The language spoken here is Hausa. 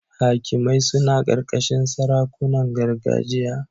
Hakimai suna ƙarƙashin sarakunan gargajiya.